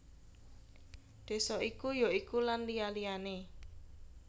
Désa iku ya iku Lan liya liyané